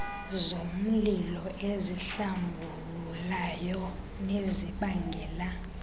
zomlilo ezihlambululayo nezibangela